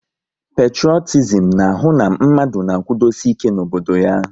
Petrotizim na ahụ na mmadụ na-akwudosi ike n'obodo ya